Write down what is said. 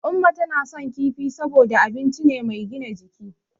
Umma tana son kifi saboda abinci ne mai gina jiki.